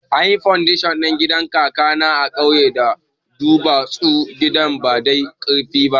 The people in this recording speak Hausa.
Anyi fandashon ɗin gidan kakana a kauye da duwatsu, gidan ba dai karfi ba